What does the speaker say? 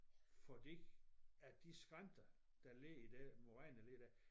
Fordi at de skrænter der ligger i det moræneler der